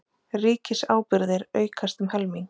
Ríkisábyrgðir aukast um helming